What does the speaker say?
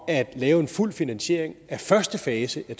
at lave en fuld finansiering af første fase af